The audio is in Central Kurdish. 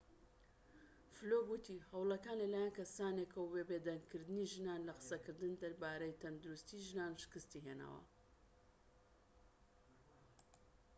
فلوك وتی هەوڵەکان لەلایەن کەسانێکەوە بۆ بێدەنگ کردنی ژنان لە قسەکردن دەربارەی تەندروستیی ژنان شکستی هێناوە